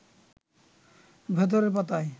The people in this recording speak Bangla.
ভেতরের পাতায়